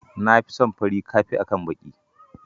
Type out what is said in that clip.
Na fi son fari ka fi akan baki.